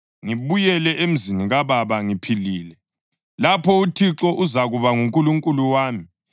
ngibuyele emzini kababa ngiphilile, lapho uThixo uzakuba nguNkulunkulu wami